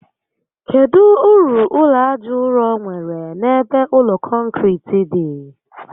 Kedụ uru ụlọ aja ụrọ nwèrè n'ebe ụlọ kọnkiriti dị?